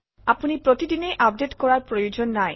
আপুনি প্ৰতিদিনেই আপডেট কৰাৰ প্ৰয়োজন নাই